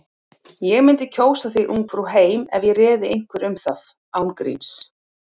Ég mundi kjósa þig Ungfrú heim ef ég réði einhverju um það. án gríns.